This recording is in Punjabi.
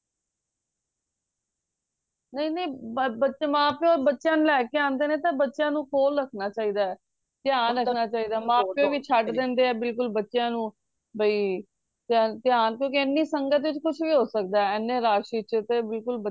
ਨਹੀਂ ਨਹੀਂ ਬੱਚੇ ਮਾਂ ਪਿਓ ਬੱਚਿਆਂ ਨੂੰ ਲੈ ਕੇ ਆਂਦੇ ਨੇ ਤੇ ਬੱਚਿਆਂ ਨੂੰ ਕੋਲ ਰੱਖਣਾ ਚਾਹਿਦਾ ਧਿਆਨ ਰੱਖਣਾ ਚਾਹੀਦਾ ਮਾਂ ਪਿਓ ਵੀ ਛੱਡ ਦਿੰਦੇ ਆ ਬਿਲਕੁਲ ਬੱਚਿਆਂ ਨੂੰ ਬਇ ਧਿਆਨ ਕਿਉਂਕਿ ਇਹਨੀ ਸੰਗਤ ਚ ਕੁਛ ਵੀ ਹੋ ਸਕਦਾ ਇਹਨੇ rush ਚ ਤੇ ਬਿਲਕੁਲ